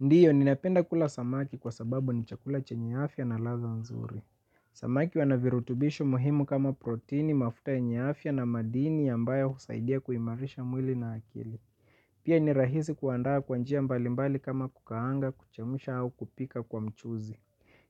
Ndiyo, ninapenda kula samaki kwa sababu ni chakula chenye afya na ladha nzuri. Samaki wana virutubishi muhimu kama protini, mafuta yenye afya na madini ambayo husaidia kuimarisha mwili na akili. Pia ni rahizi kuandaa kwa njia mbalimbali kama kukaanga, kuchemsha au kupika kwa mchuzi.